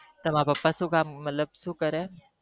તમાર પપ્પા સુ કામ મતલબ સુ કરે